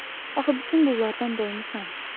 Axı bütün bunlardan doymusan.